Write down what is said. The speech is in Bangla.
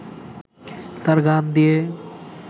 তার গান দিয়ে